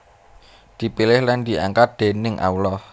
Dipilih lan diangkat déning Allah